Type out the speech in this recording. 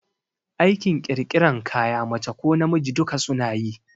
Aikin ƙirƙiran kaya mace ko namiji duka suna yi